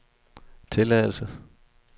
tilladelse